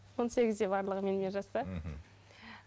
он сегізде барлығы менімен жасты мхм